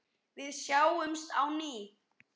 Við sjáumst á ný.